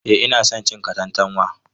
Eh ina son cin katantanwa.